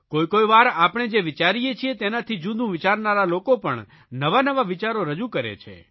કોઇ કોઇ વાર આપણે જે વિચારીએ છીએ તેનાથી જૂદું વિચારનારા લોકો પણ નવાનવા વિચારો રજૂ કરે છે